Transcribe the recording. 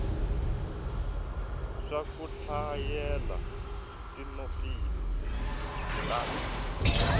swa ku hlayela tinotsi ta